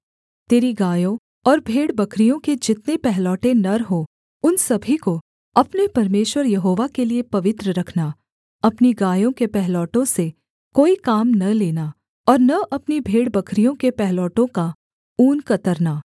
तेरी गायों और भेड़बकरियों के जितने पहलौठे नर हों उन सभी को अपने परमेश्वर यहोवा के लिये पवित्र रखना अपनी गायों के पहिलौठों से कोई काम न लेना और न अपनी भेड़बकरियों के पहिलौठों का ऊन कतरना